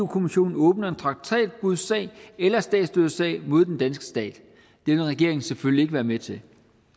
kommissionen åbner en traktatbrudssag eller statsstøttesag mod den danske stat det vil regeringen selvfølgelig ikke være med til